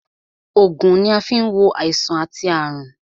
Ògùn ni a fi ń wo àìsàn àti àrùn